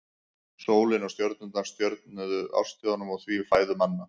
Sólin og stjörnurnar stjórnuðu árstíðunum og því fæðu manna.